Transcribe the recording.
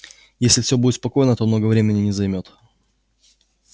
если всё будет спокойно то много времени не займёт